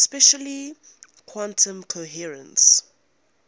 especially quantum decoherence